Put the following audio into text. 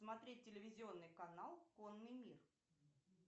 смотреть телевизионный канал конный мир